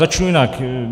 Začnu jinak.